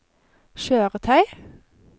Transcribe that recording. kjøretøy